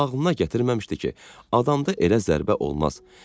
Daha ağlına gətirməmişdi ki, adamda elə zərbə olmaz.